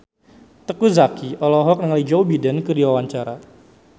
Teuku Zacky olohok ningali Joe Biden keur diwawancara